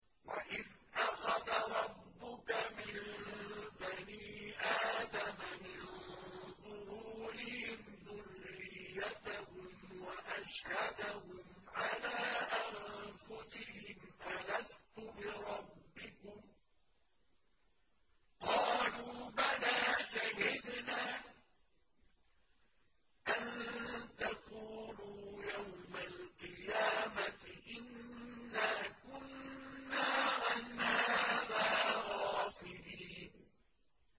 وَإِذْ أَخَذَ رَبُّكَ مِن بَنِي آدَمَ مِن ظُهُورِهِمْ ذُرِّيَّتَهُمْ وَأَشْهَدَهُمْ عَلَىٰ أَنفُسِهِمْ أَلَسْتُ بِرَبِّكُمْ ۖ قَالُوا بَلَىٰ ۛ شَهِدْنَا ۛ أَن تَقُولُوا يَوْمَ الْقِيَامَةِ إِنَّا كُنَّا عَنْ هَٰذَا غَافِلِينَ